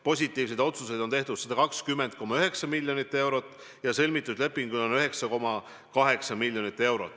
Positiivseid otsuseid on tehtud 120,9 miljoni euro kohta ja sõlmitud lepingute maht on 9,8 miljonit eurot.